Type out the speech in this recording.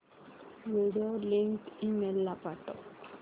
video link email ला पाठव